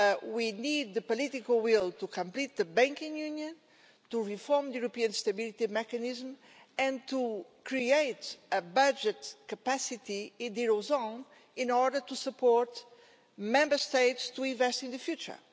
We need the political will to complete the banking union, to reform the European Stability Mechanism and to create a budget capacity in the euro area in order to support Member States to invest in the future.